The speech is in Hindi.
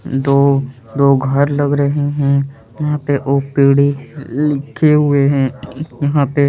दो दो घर लग रहे हैं यहाँ पे लिखे हुए है यहाँ पे--